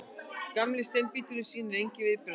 Gamli steinbíturinn sýnir engin viðbrögð.